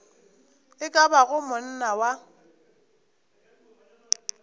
e ka bago monna wa